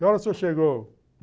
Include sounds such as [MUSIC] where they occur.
Que horas o [UNINTELLIGIBLE] chegou?